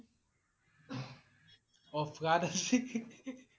অ flood আছি